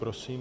Prosím.